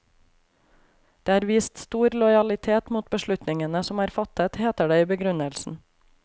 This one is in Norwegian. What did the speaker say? Det er vist stor lojalitet mot beslutningene som er fattet, heter det i begrunnelsen.